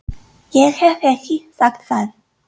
Ég hef ekki sagt það!